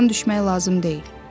Ruhdan düşmək lazım deyil.